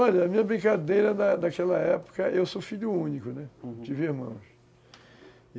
Olha, a minha brincadeira na na daquela época... Eu sou filho único, né, não tive irmãos, uhum.